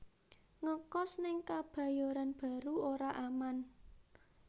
Ngekos ning Kebayoran Baru ora aman